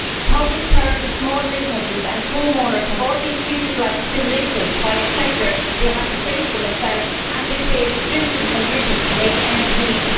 Public purses, small businesses and homeowners have all been treated like delinquents by a sector they had to save from itself and they face stringent conditions to make ends meet.